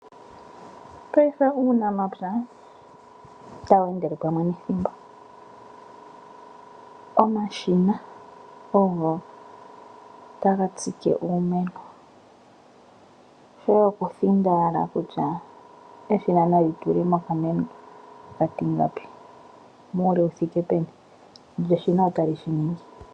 Mopaife uunamapya otawu endele pamwe nethimbo. Omashina ogo taga tsike uumeno, shoye okuthinda owala kutya eshina nali tule mo okameno okatingapi muule wu thike peni lyo eshina otali shi ningi.